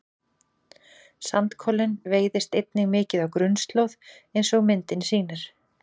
sandkolinn veiðist einnig mikið á grunnslóð eins og myndin sýnir